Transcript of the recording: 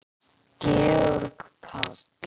Georg Páll.